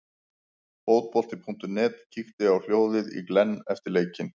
Fótbolti.net kíkti á hljóðið í Glenn eftir leikinn.